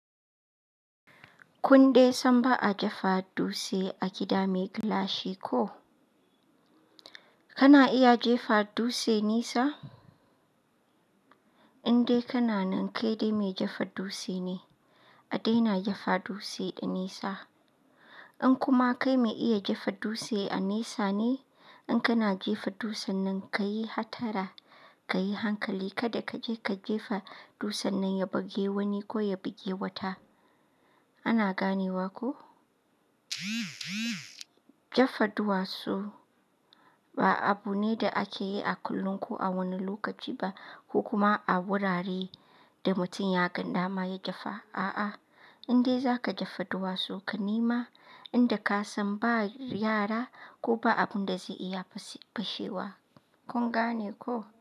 Kundai san ba a jefa dutse a gida mai gilashi ko? Kana iya jefa dutse nesa? Indai kana nan ke dai mai jefa dutse ne. A daina jefa dutse da nisa. In kuma kai mai iya jefa dutse a nesa ne, in kana jefa dutsen nan ka yi hatara, ka yi hankali kada ka je ka jefa dutsen nan ya buge wani ko ya buge wata. Ana ganewa ko? Jefa duwatsu ba abu ne da ake yi a kullum ko a wani lokaci ba ko kuma a wuraren da mutum ya gada ma ya jefa. A'a, indai za ka jefa duwatsu ka nema inda ka san ba yara ko ba abin da zai iya fashe fashewa. Kun gane ko?